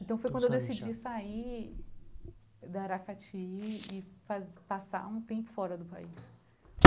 Então foi quando eu decidi sair da Aracati e faz passar um tempo fora do país.